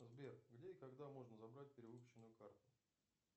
сбер где и когда можно забрать перевыпущенную карту